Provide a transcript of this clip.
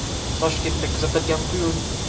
Toshkentda kuzatilgan quyun.